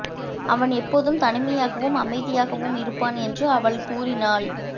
அவன் எப்போதும் தனிமையாகவும் அமைதியாகவும் இருப்பான் என்று அவள் கூறினாள்